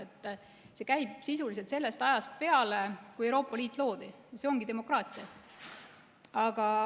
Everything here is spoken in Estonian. See on käinud sisuliselt sellest ajast peale, kui Euroopa Liit loodi, ja see ongi demokraatia.